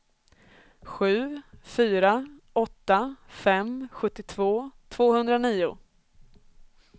sju fyra åtta fem sjuttiotvå tvåhundranio